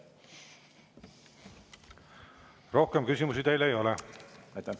Rohkem küsimusi teile ei ole.